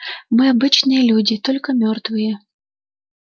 мы обычные люди только мёртвые